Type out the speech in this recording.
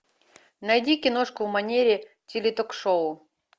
найди киношку в манере теле ток шоу